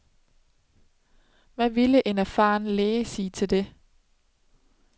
Hvad ville en erfaren læge sige til det?